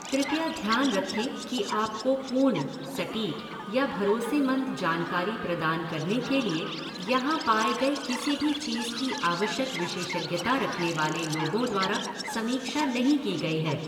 कृपया ध्यान रखें कि आपको पूर्ण, सटीक, या भरोसेमंद जानकारी प्रदान करने के लिए यहाँ पाए गए किसी भी चीज की आवश्यक विशेषज्ञता रखने वाले लोगों द्वारा समीक्षा नहीं की गई है।